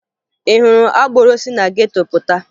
Ị hụrụ agboro si na geto pụta?